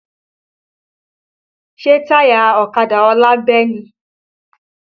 Ṣé táyà ọ̀kadà ọlá bẹ́ ni?